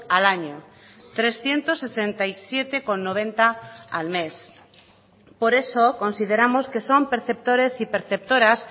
al año trescientos sesenta y siete coma noventa al mes por eso consideramos que son perceptores y perceptoras